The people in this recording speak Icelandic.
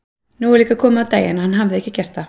Nú var líka komið á daginn að hann hafði ekki gert það.